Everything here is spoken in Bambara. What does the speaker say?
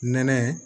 Nɛnɛ